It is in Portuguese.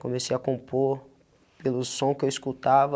Comecei a compor pelo som que eu escutava,